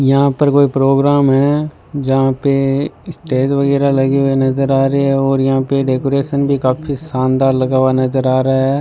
यहां पर कोई प्रोग्राम है जहां पे स्टेज वगैरा लगी हुईं नजर आ रही हैं और यहां पे डेकोरेशन भी काफी शानदार लगा हुआ नज़र आ रहा है।